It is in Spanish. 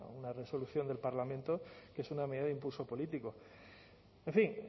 una resolución del parlamento que es una medida de impulso político en fin